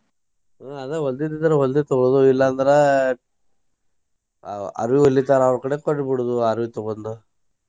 ಆಹ್ ಅದ ಹೊಲ್ದಿದ್ದ ಇದ್ರ ಹೊಲ್ದಿದ್ ತೊಗೊಳೋದು ಇಲ್ಲಾ ಅಂದ್ರ ಅ~ ಅರ್ವಿ ಹೊಲಿತಾರ ಅವ್ರ ಕಡೆ ಕೊಟ್ಟ ಬಿಡುದು ಅರ್ವಿ ತೊಗೊಂಡ್.